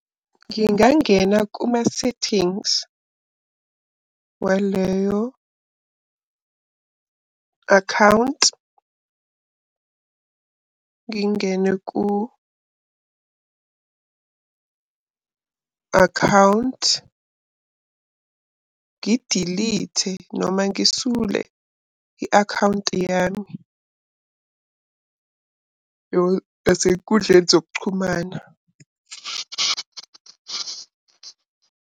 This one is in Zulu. Ngingangena kuma-settings waleyo akhawunti. Ngingene ku-akhawunti, ngidilithe noma ngisule i-akhawunti yami yasey'nkundleni zokuxhumana.